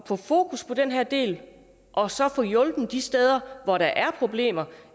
fokus på den her del og så få hjulpet de steder hvor der er problemer